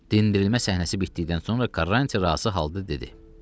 Dinlənilmə səhnəsi bitdikdən sonra Karranti rahatca halda dedi.